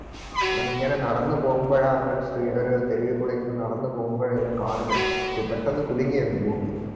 അവനിങ്ങനെ നടന്നു പോകുമ്പാഴാ അവനൊരു സ് ഒര് തെരുവിക്കൂടെ ഇങ്ങനെ നടന്നു പോകുമ്പാഴാ ഇവൻ കാണുന്നെ പെട്ടെന്ന് കുലുങ്ങിയെന്ന് ഭൂമി